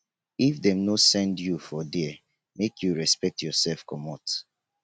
if dem no send you for there make you respect yoursef comot.